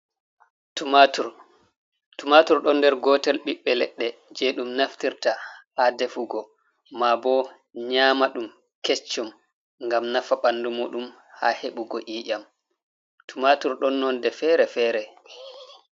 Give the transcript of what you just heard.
Tumatur, tumatur ɗon nder gotel ɓiɓɓe leɗɗe je ɗum naftirta ha defugo maabo nyama ɗum kecchum ngam nafa ɓandu muɗum ha heɓugo i'ƴam. Tumatur ɗon nonde fere-fere.